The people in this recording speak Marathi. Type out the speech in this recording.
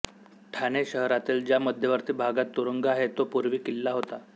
ठाणे शहरातील ज्या मध्यवर्ती भागात तुरुंग आहे तो पूर्वी किल्ला होता